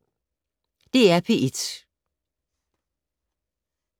DR P1